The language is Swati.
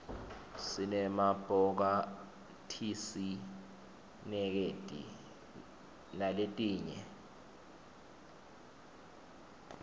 sinema bhokathisinetikedi naletinye